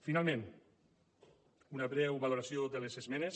finalment una breu valoració de les esmenes